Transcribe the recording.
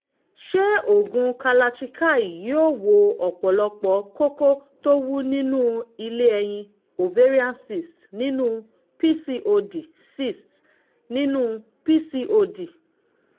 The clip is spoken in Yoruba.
mo máa ń fi nǹkan ọmọkùnrin mi ṣeré nípa fífi ọwọ́ pa orí nǹkan ọmọkùnrin mi